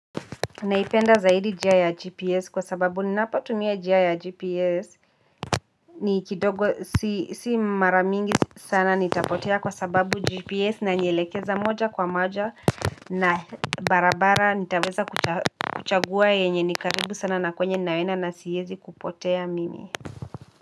Naipenda zaidi njia ya gps kwa sababu ninapotumia njia ya gps ni kidogo si mara mingi sana nitapotea kwa sababu gps inanielekeza moja kwa moja na barabara nitaweza kuchagua yenye ni karibu sana na kwenye naenda na siezi kupotea mimi.